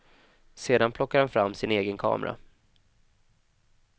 Sedan plockar han fram sin egen kamera.